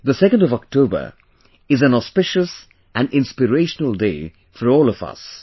2nd of October is an auspicious and inspirational day for all of us